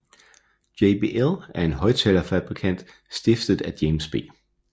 JBL er en højttalerfabrikant stiftet af James B